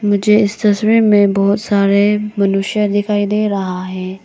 मुझे इस तस्वीर में बहुत सारे मनुष्य दिखाई दे रहा है।